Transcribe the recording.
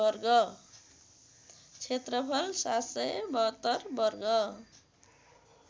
क्षेत्रफल ७७२ वर्ग